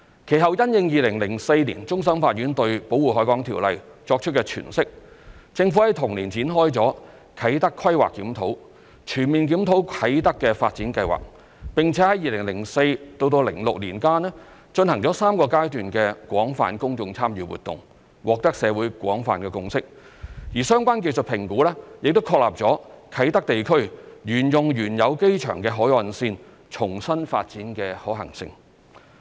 其後，因應2004年終審法院對《條例》作出的詮釋，政府於同年展開"啟德規劃檢討"，全面檢討啟德發展計劃，並於2004年至2006年間進行3個階段的廣泛公眾參與活動，獲得社會廣泛共識，而相關技術評估亦確立了啟德地區沿用原有機場的海岸線重新發展的可行性。